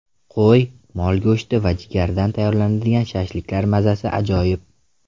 Qo‘y, mol go‘shti va jigardan tayyorlanadigan shashliklar mazasi ajoyib.